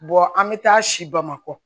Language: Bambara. an bɛ taa si bamakɔ